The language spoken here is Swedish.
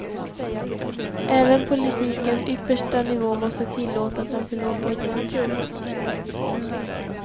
Även politikens yppersta nivå måste tillåtas en förlåtande natur.